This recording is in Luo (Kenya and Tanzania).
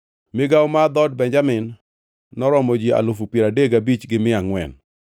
Migawo mar dhood Benjamin noromo ji alufu piero adek gabich gi mia angʼwen (35,400).